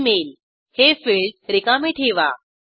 Email- हे field रिकामे ठेवा